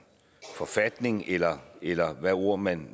forfatning eller eller hvad ord man